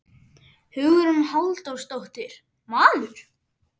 Hugrún Halldórsdóttir: Maður?